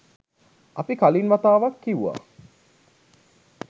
අපි කලින් වතාවක් කිව්වා